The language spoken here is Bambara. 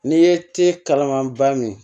N'i ye te kalama ba min